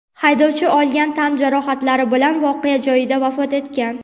haydovchi olgan tan jarohatlari bilan voqea joyida vafot etgan.